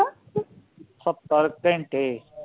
ਸਤਰ ਘੰਟੇ?